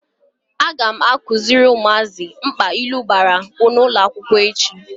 Aga m akuziri umuaka mkpa ilu bara n'ulo akwukwo echi.